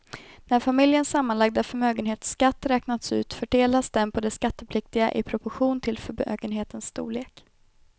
När familjens sammanlagda förmögenhetsskatt räknats ut fördelas den på de skattpliktiga i proportion till förmögenhetens storlek.